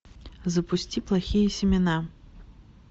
запусти плохие семена